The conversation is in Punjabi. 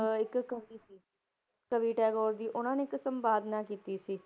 ਅਹ ਇੱਕ ਕਵੀ ਸੀ, ਕਵੀ ਟੈਗੋਰ ਦੀ ਉਹਨਾਂ ਨੇ ਇੱਕ ਸੰਪਾਦਨਾ ਕੀਤੀ ਸੀ।